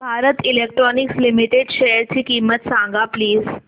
Bharat electronics limited शेअरची किंमत सांगा प्लीज